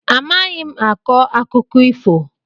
Amaghị m akọ akụkọ ifo.